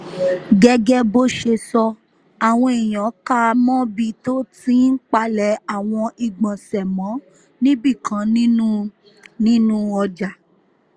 gẹ́gẹ́ bó ṣe sọ àwọn èèyàn kà á mọ́bi tó ti ń palẹ̀ àwọn ìgbọ̀nsẹ̀ mọ́ níbìkan nínú nínú ọjà